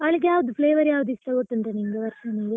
ಅವಳಿಗೆ ಯಾವುದು flavour ಯಾವುದು ಇಷ್ಟ, ಗೊತ್ತುಂಟಾ ನಿಂಗೆ ವರ್ಷನಿಗೆ?